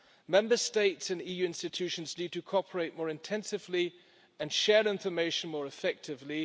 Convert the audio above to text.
Member States and EU institutions need to cooperate more intensively and share information more effectively.